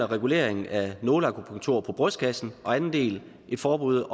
regulering af nåleakupunktur på brystkassen og den anden del et forbud